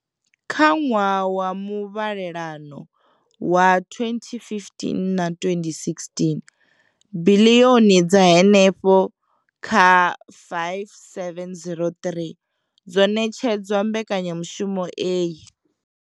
Kha ṅwaha wa muvhalelano wa 2015 na 2016, biḽioni dza henefha kha 5 703 dzo ṋetshedzwa mbekanyamushumo iyi.